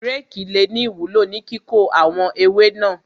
Rékì le ní ìwúló ní kíkó àwọn ewé náà.